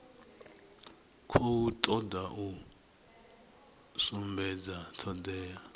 khou toda u sumbedza thodea